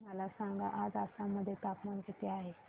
मला सांगा आज आसाम मध्ये तापमान किती आहे